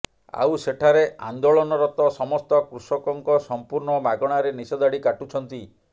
ଆଉ ସେଠାରେ ଆନ୍ଦୋଳନରତ ସମସ୍ତ କୃଷକଙ୍କ ସମ୍ପୂର୍ଣ୍ଣ ମାଗଣାରେ ନିଶ ଦାଢ଼ି କାଟୁଛନ୍ତି